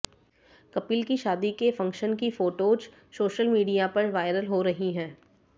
कपिल की शादी के फंक्शन की फोटोज सोशल मीडिया पर वायरल हो रही हैं